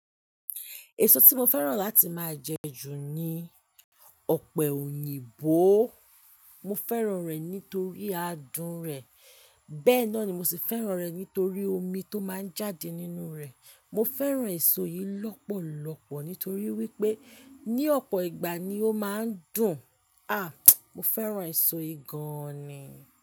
Èso tí mo fẹ́ràn láti máa jẹ ju ni ọ̀pẹ̀ òyìnbó. Mo fẹ́ràn rẹ̀ nítorí adùn rẹ̀, bẹ́ẹ̀ náà ni mo sì fẹ́ràn rẹ̀ nítorí omi tó máa ń jáde nínú rẹ̀. Mo fẹ́ràn èso yìí lọ́pọ̀lọpọ̀ nítorí wípé ní ọ̀pọ̀ ìgbà ni ó máa ń dùn. À! Mo fẹ́ràn èso yìí gan ni.